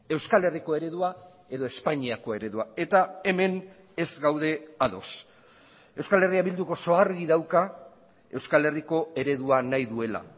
euskal herriko eredua edo espainiako eredua eta hemen ez gaude ados euskal herria bilduk oso argi dauka euskal herriko eredua nahi duela